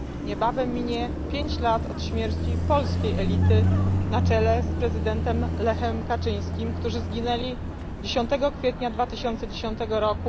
Niebawem minie 5 lat od śmierci polskiej elity na czele z prezydentem Lechem Kaczyńskim, którzy zginęli 10 kwietnia 2010 r.